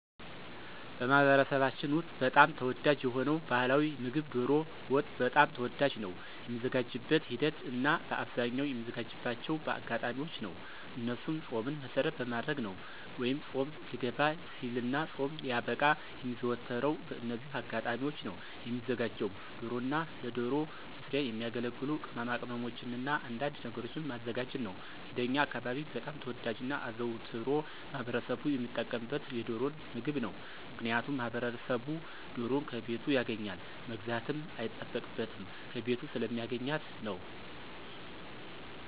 በማኅበረሰባችን ውስጥ በጣም ተወዳጅ የሆነው ባሕላዊ ምግብ ዶሮ ወጥ በጣም ተወዳጅ ነው። የሚዘጋጅበትን ሂደት እናበአብዛኛው የሚዘጋጅባቸው በአጋጣሚዎች ነው እነሱም ፆምን መሰረት በማድረግ ነው ወይ ፆም ሊገባ ሲልና ፆም ሲያበቃ የሚዘወተረው በእነዚህ አጋጣሚዎች ነው። የሚዘጋጀውም ዶሮና ለዶሮ መስሪያ የሚያገለግሉ ቅማቅመሞችንና አንዳንድ ነገሮችን ማዘጋጀት ነው። እንደኛ አካባቢ በጣም ተወዳጅና አዘውትሮ ማህበረሰቡ ሚጠቀምበት የዶሮን ምግብ ነው። ምክንያቱም ማህበረሰቡ ዶሮን ከቤቱ ያገኛል መግዛትም አይጠበቅበትም ከቤቱ ስለሚያገኛት ነው።